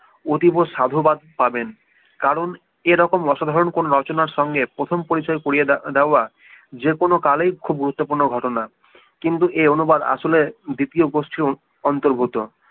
অতীব সাধুবাদ পাবেন কারণ এরকম অসাধারণ কোনো রচনার সঙ্গে প্রথম পরিচয় করিয়ে দেয়া যে কোনো কালেই খুব গুরুত্বপূর্ণ ঘটনা কিন্তু এ অনুবাদ আসলে দ্বিতীয় গোষ্ঠীর অন্তর্গত